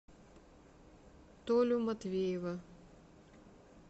толю матвеева